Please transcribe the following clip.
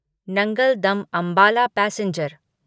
Nangal dam Ambala passenger